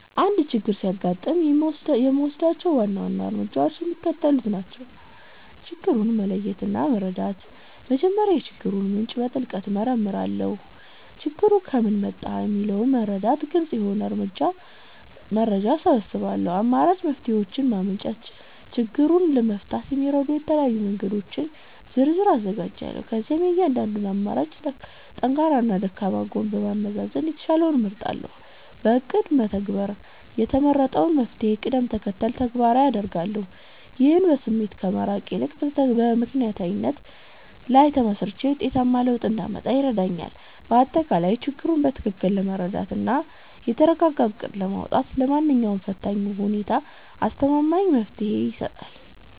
አንድ ችግር ሲያጋጥመኝ የምወስዳቸው ዋና ዋና እርምጃዎች የሚከተሉት ናቸው፦ ችግሩን መለየትና መረዳት፦ መጀመሪያ የችግሩን ምንጭ በጥልቀት እመረምራለሁ። ችግሩ ከምን መጣ? የሚለውን በመረዳት ግልጽ የሆነ መረጃ እሰበስባለሁ። አማራጭ መፍትሔዎችን ማመንጨት፦ ችግሩን ለመፍታት የሚረዱ የተለያዩ መንገዶችን ዝርዝር አዘጋጃለሁ። ከዚያም የእያንዳንዱን አማራጭ ጠንካራና ደካማ ጎን በማመዛዘን የተሻለውን እመርጣለሁ። በእቅድ መተግበር፦ የተመረጠውን መፍትሔ በቅደም ተከተል ተግባራዊ አደርጋለሁ። ይህም በስሜት ከመመራት ይልቅ በምክንያታዊነት ላይ ተመስርቼ ውጤታማ ለውጥ እንዳመጣ ይረዳኛል። ባጠቃላይ፣ ችግሩን በትክክል መረዳትና የተረጋጋ እቅድ ማውጣት ለማንኛውም ፈታኝ ሁኔታ አስተማማኝ መፍትሔ ይሰጣል።